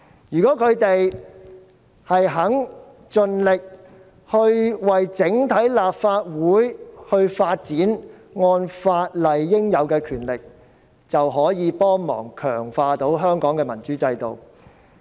如果他們願意盡力為整體立法會發展，按法例賦予的權力，就有助強化香港的民主制度。